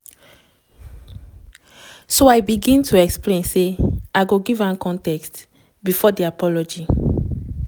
so im begin to explain say im go give context bifor di apology.